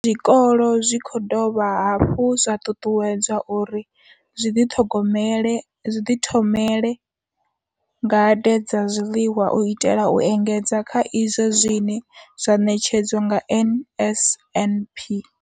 Zwikolo zwi khou dovha hafhu zwa ṱuṱuwedzwa uri zwi ḓi ṱhogomele zwi ḓi thomele ngade dza zwiḽiwa u itela u engedza kha izwo zwine zwa ṋetshedzwa nga NSNP.